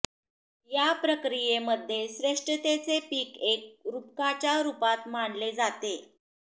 या प्रक्रियेमध्ये श्रेष्ठतेचे पीक एक रूपकाच्या रूपात मानले जाते